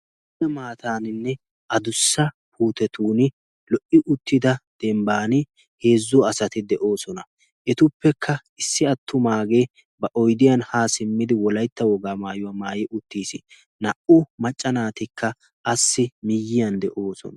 Lo"ida maataaninne a dussa puutetun lo"i uttida dembban heezzo asati de'oosona. etuppekka issi attumaagee ba oydiyan haa simmidi wolaytta wogaa maayuwaa maayi uttiis naa"u maccanaatikka assi miyyiyan de'oosona.